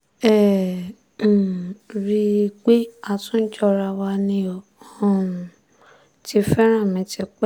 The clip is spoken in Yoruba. ẹ ẹ́ um rí i pé a tún jọra wa ni ó um ti fẹ́ràn mi tipẹ́